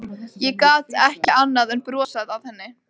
Ég gat ekki annað en brosað að henni.